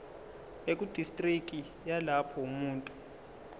ekudistriki yalapho umuntu